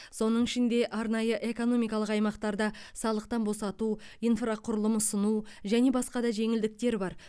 соның ішінде арнайы экономикалық аймақтарда салықтан босату инфрақұрылым ұсыну және басқа да жеңілдіктер бар